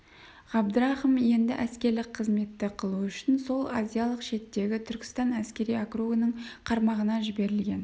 ғабдрахым енді әскерлік қызметті қылу үшін сол азиялық шеттегі түркістан әскери округінің қарамағына жіберілген